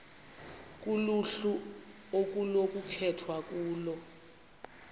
kuluhlu okunokukhethwa kulo